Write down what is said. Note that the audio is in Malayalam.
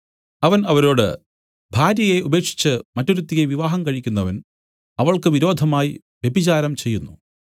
അവൻ അവരോട് ഭാര്യയെ ഉപേക്ഷിച്ച് മറ്റൊരുത്തിയെ വിവാഹം കഴിക്കുന്നവൻ അവൾക്ക് വിരോധമായി വ്യഭിചാരം ചെയ്യുന്നു